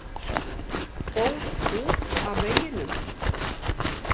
Fór út af veginum